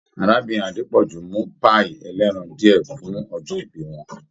Arábìnrin Adepoju mu pai ẹ̀lẹ́ran diẹ fun ọjọ ìbí wọn.